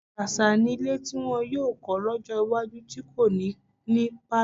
Ṣàṣà nílé tí wọn yóò kọ́ lọ́jọ́ iwájú tí kò ní ní pálọ̀.